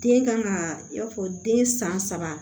Den kan ka i n'a fɔ den san saba